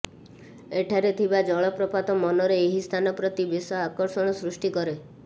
ଏଠାରେ ଥିବା ଜଳପ୍ରପାତ ମନରେ ଏହି ସ୍ଥାନ ପ୍ରତି ବେଶ ଆକର୍ଷଣ ସୃଷ୍ଟି କରେ